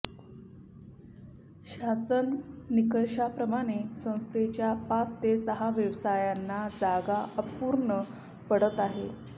शासन निकषाप्रमाणे संस्थेच्या पाच ते सहा व्यवसायांना जागा अपूर्ण पडत आहे